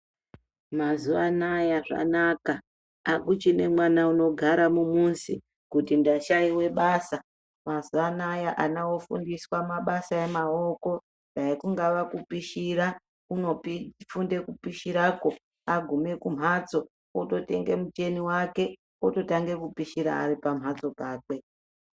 Mazuva anaya zvanaka akuchine mwana unogara mumuzi kuti ndashayiwe basa mazuva anaya ana ofundiswe mabasa emaoko dai kungava kupishira kunofunde kupishirako agume kumbatso ototenge muteni wake ototanga kupishira aripa mhatso pakwe.